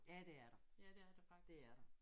Ja det er der. Det er der